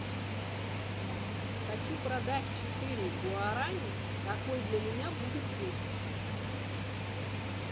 хочу продать четыре гуарани какой для меня будет курс